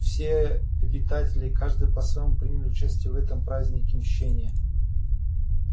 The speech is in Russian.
все обитатели каждый по-своему приняли участие в этом празднике мщения